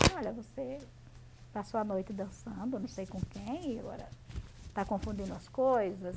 Falei, olha, você passou a noite dançando, não sei com quem, agora está confundindo as coisas.